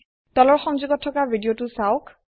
তলৰ সংযোগত থকা ভিদিয়তো চাওক